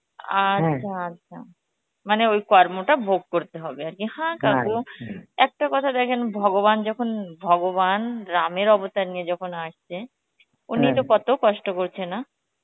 আচ্ছা মানে ওই কর্মটা ভোগ করতে হবে আর কি কাকু একটা কথা দেখেন ভগবান যখন ভগবান রামের অবদান নিয়ে আসছেন তো কত কষ্ট করছে না